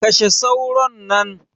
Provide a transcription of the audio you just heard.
Kashe sauron nan.